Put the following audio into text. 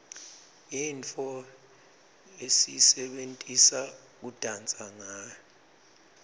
yintfo lesiyisebentisa kudansa ngawo